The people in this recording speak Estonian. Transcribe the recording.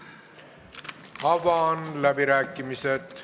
Avan läbirääkimised.